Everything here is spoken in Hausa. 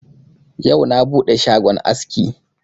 Yau na buɗe shagon aski.